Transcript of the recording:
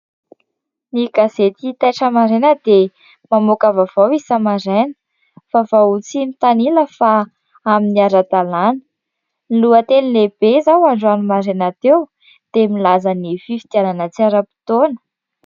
Ny gazety Taitra Maraina dia mamoaka vaovao isa-maraina. Vaovao tsy mitanila fa amin'ny ara-dalana. Ny lohateny lehibe izao androany maraina teo dia milaza ny fifidianana tsy ara-potoana.